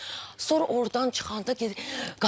Sonra ordan çıxanda gedir.